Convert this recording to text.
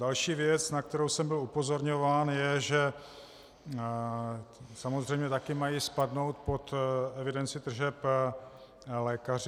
Další věc, na kterou jsem byl upozorňován, je, že samozřejmě také mají spadnout pod evidenci tržeb lékaři.